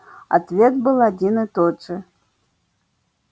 ответ был один и тот же